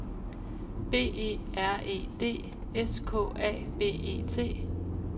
B E R E D S K A B E T